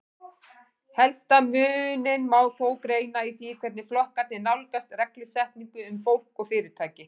Helsta muninn má þó greina í því hvernig flokkarnir nálgast reglusetningu um fólk og fyrirtæki.